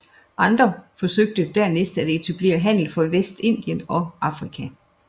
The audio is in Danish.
Andre forsøgte dernæst at etablere handel fra Vestindien og Afrika